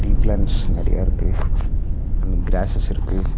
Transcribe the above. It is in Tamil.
டீ ப்ளண்ட்ஸ் நெறையா இருக்கு அண்ட் கிராசஸ் இருக்கு.